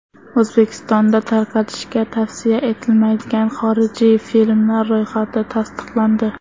O‘zbekistonda tarqatishga tavsiya etilmaydigan xorijiy filmlar ro‘yxati tasdiqlandi.